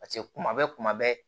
Paseke kuma bɛɛ kuma bɛɛ